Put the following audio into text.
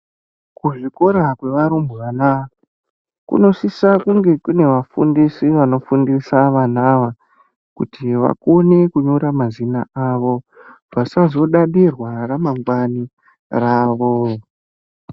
Kuzvikora kwevarumbwana kunosisa kunge kune vafundisi vanofundisa vana kuti vakone kunyora mazina avo, vasazodadirwa ramangwana ravo.